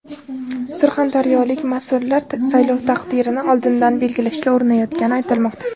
Surxondaryolik mas’ullar saylov taqdirini oldindan belgilashga urinayotgani aytilmoqda.